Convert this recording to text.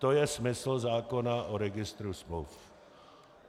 To je smysl zákona o registru smluv.